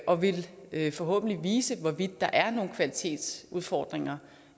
og vil vil forhåbentlig vise hvorvidt der er nogen kvalitetsudfordringer